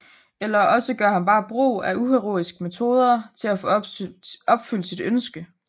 Eller også gør han bare brug af uheroiske metoder for at få opfyldt sit ønske